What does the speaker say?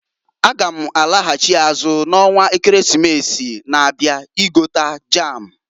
N g'alaghachị azụ na onwa Ekeresimesi na-abia igota jam.